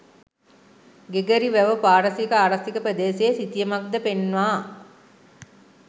Gregory වැව පාරිසරික ආරක්ෂිත ප්‍රදේශයේ සිතියමක්ද පෙන්වා